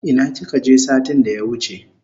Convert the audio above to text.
Ina kika je satin da ya wuche?